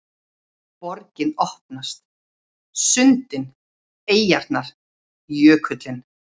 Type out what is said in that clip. Borgin opnast: sundin, eyjarnar, jökullinn